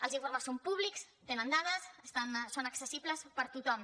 els informes són públics tenen dades són accessibles per a tothom